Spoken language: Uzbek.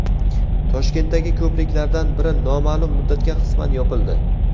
Toshkentdagi ko‘priklardan biri noma’lum muddatga qisman yopildi.